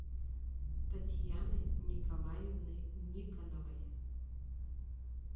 татьяны николаевны никоновой